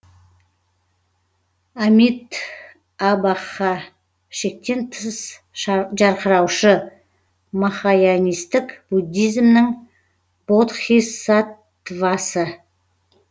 амит абха шектен тыс жарқыраушы махаянистік буддизмнің бодхисаттвасы